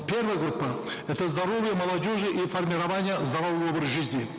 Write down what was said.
первая группа это здоровье молодежи и формирование здорового образа жизни